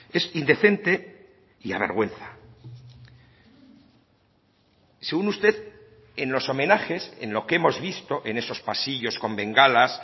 es indecente y avergüenza según usted en los homenajes en lo que hemos visto en esos pasillos con bengalas